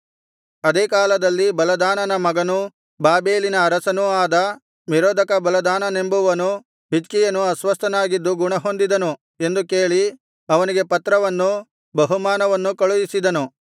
ಅದೇ ಕಾಲದಲ್ಲಿ ಬಲದಾನನ ಮಗನೂ ಬಾಬೆಲಿನ ಅರಸನೂ ಆದ ಮೆರೋದಕ ಬಲದಾನನೆಂಬುವನು ಹಿಜ್ಕೀಯನು ಅಸ್ವಸ್ಥನಾಗಿದ್ದು ಗುಣಹೊಂದಿದನು ಎಂದು ಕೇಳಿ ಅವನಿಗೆ ಪತ್ರವನ್ನೂ ಬಹುಮಾನವನ್ನೂ ಕಳುಹಿಸಿದನು